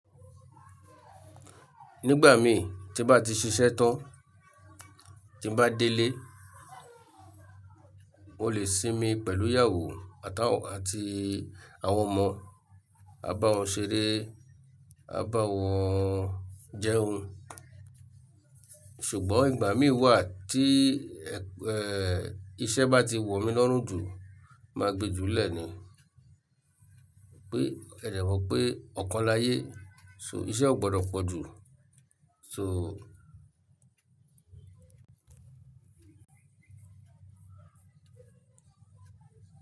Nígbà mi tí bá ti ṣiṣẹ́ tán, tí bá délé, mo lè sinmi pẹ̀lú ìyàwó àtàwo àti àwọn ọmọ. A bá wọn ṣeré, a bá wọn jẹun. Ṣugbọn ìgbà èmi wà tí hẹn iṣẹ bá tí wọ mí lọrùn júù má gbé jù lẹ ní pé, ẹdẹ̀ mọ̀ pé ọ̀kan láyé, so iṣẹ́ ò gbọdọ̀ pọ̀ jù, so.